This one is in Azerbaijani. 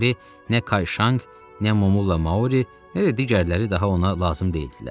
Deməli, nə Kayşanq, nə Momulla Maori, nə də digərləri daha ona lazım deyildilər.